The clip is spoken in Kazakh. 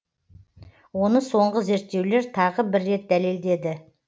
оны соңғы зерттеулер тағы бір рет дәлелдеді